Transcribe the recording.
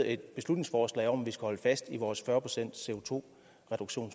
et beslutningsforslag om at vi skal holde fast i vores